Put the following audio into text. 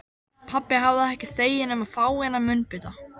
Pabbi hafði ekki þegið nema fáeina munnbita.